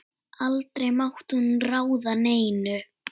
Aldrei mátti hún ráða neinu.